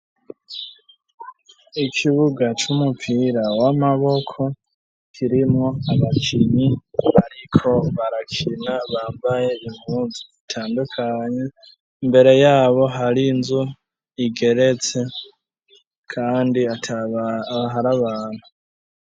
Ikibuga c'umupira w'amaboko kirimo abakinyi ariko barakina bambaye inuzu itandukanye mbere yabo hari nzu igeretse kandi aharabantu.